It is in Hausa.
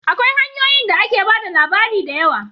Akwai hanyoyi da ake ba da labari da yawa